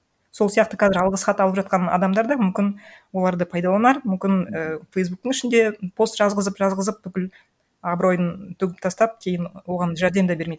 сол сияқты қазір алғыс хат алып жатқан адамдар да мүмкін оларды пайдаланар мүмкін і фейсбуктің ішінде пост жазғызып жазғызып бүкіл абыройын төгіп тастап кейін оған жәрдем де бермейді